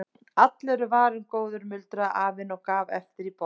Allur er varinn góður muldraði afinn og gaf allt í botn.